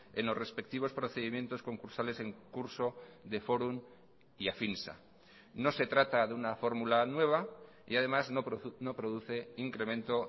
en los respectivos procedimientos concursales en curso de fórum y afinsa no se trata de una fórmula nueva y además no produce incremento